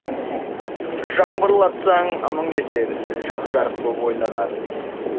жаңбырлатсаң мың есер жап жарық боп ойланар